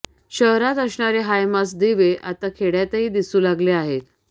शहरात असणारे हायमास्ट दिवे आता खेड्यातही दिसू लागले आहेत